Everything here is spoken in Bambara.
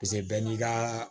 bɛɛ n'i ka